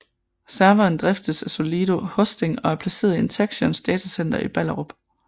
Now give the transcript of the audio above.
Serveren driftes af Solido Hosting og er placeret i Interxions datacenter i Ballerup